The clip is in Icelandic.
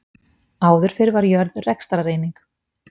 Áður fyrr var jörð rekstrareining.